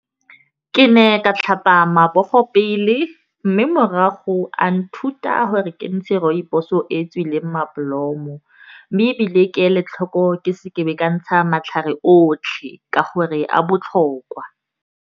Ke ne ka tlhapa matsogo pele. Mme morago a nthuta gore kentshe rooibos o e tsweleng madi mobolomo. Mme ebile ke le tlhoko ke seke ka ntsha matlhare otlhe ka gore a botlhokwa.